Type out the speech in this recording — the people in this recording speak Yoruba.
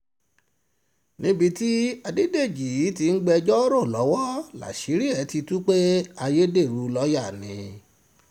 níbi tí adédèjì ti ń gbẹ́jọ́ rò lọ́wọ́ láṣìírí ẹ̀ ti tú pé ayédèrú lọ́ọ́yà ní nìtorí